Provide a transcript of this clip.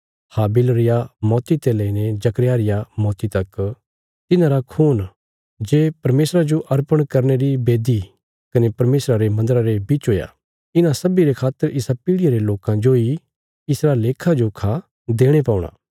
हाबिल रिया मौती ते लेईने जकर्याह री मौती तक तिन्हारा खून जे परमेशरा जो अर्पण करने री बेदी कने परमेशरा रे मन्दरा रे बिच हुया इन्हां सब्बीं रे खातर इसा पीढ़ियां रे लोकां जोई इसरा लेखाजोखा देणे पौणा